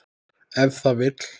Ef það vill.